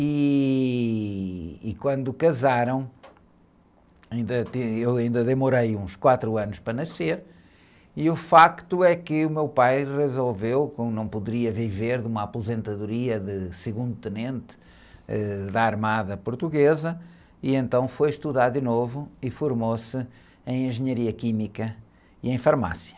E, e quando casaram, ainda teve, eu ainda demorei uns quatro anos para nascer, e o fato é que o meu pai resolveu, como não poderia viver de uma aposentadoria de segundo tenente da Armada Portuguesa, e então foi estudar de novo e formou-se em Engenharia Química e em Farmácia.